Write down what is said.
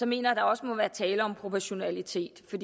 mener at der også må være tale om proportionalitet